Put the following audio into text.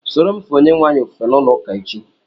Sóró m fee Onyenweanyị ofufe n'ulo ụka echi